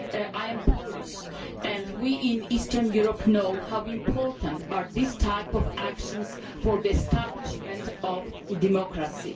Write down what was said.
I am Polish, and we in Eastern Europe know how important these types of actions are for the establishment of democracy.